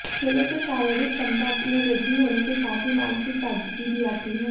खेलों से शारीरिक क्षमता में वृद्धि होने के साथ ही मानसिक ताजगी भी आती है